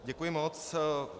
Děkuji moc.